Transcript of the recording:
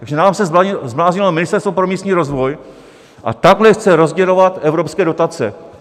Takže nám se zbláznilo Ministerstvo pro místní rozvoj a takhle chce rozdělovat evropské dotace.